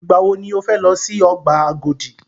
Ìgbà wọ ni o fẹ lọ si ọgbà Agodi?